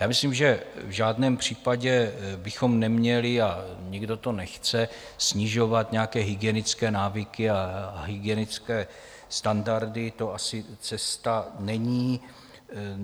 Já myslím, že v žádném případě bychom neměli, a nikdo to nechce, snižovat nějaké hygienické návyky a hygienické standardy, to asi cesta není.